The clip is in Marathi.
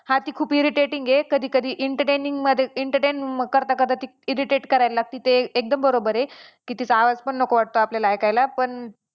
हा ती खूप irritating आहे. कधी कधी entertaining मध्ये entertain करता करता ती irritate करायला लागती ते एकदम बरोबर आहे की तिचा आवाजपण नको वाटतो आपल्याला ऐकायला पण